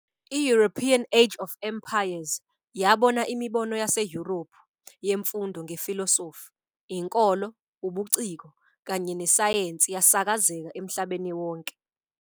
I-European Age of Empires yabona imibono yaseYurophu yemfundo ngefilosofi, inkolo, ubuciko kanye nesayensi yasakazeka emhlabeni wonke.